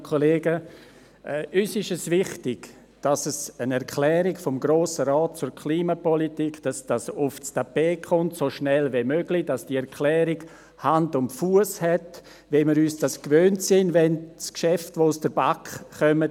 Uns ist es wichtig, dass es eine «Erklärung des Grossen Rates zur Klimapolitik» gibt, dass das so schnell wie möglich aufs Tapet kommt, dass diese Erklärung Hand und Fuss hat, wie wir es uns gewohnt sind, wenn ein Geschäft aus der BaK kommt.